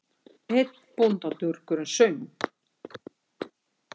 Einn bóndadurgurinn söng